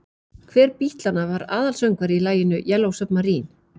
Hver Bítlanna var aðalsöngvari í laginu Yellow Submarine?